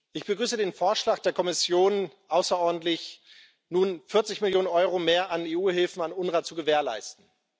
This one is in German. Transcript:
Ich begrüße den Vorschlag der Kommission außerordentlich, nun 40 Millionen Euro mehr an EU Hilfen an das UNWRA zu gewährleisten.